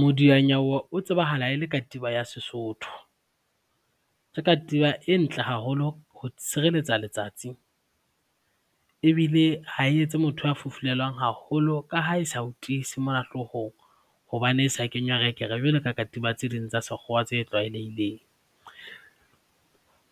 Modianyewe o tsebahalang e le katiba ya Sesotho. Ke katiba e ntle haholo ho tshirelletsa letsatsi ebile ha e etse motho a fufulelwa haholo ka ha e sa o tiise mona hloohong hobane e sa kenywa rekere jwalo ka katiba tse ding tsa sekgowa tse tlwaelehileng.